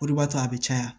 O de b'a to a bɛ caya